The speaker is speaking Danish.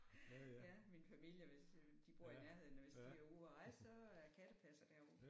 Ja min familie de bor i nærheden og hvis de er ude og rejse så er jeg kattepasser derovre